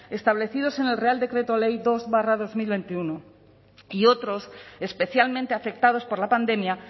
establecidos en el real decreto ley dos barra dos mil veintiuno y otros especialmente afectados por la pandemia